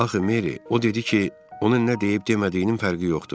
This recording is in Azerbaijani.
Axı Mary, o dedi ki, ona nə deyib demədiyinin fərqi yoxdur.